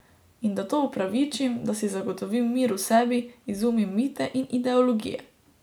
In da to upravičim, da si zagotovim mir v sebi, izumim mite in ideologije.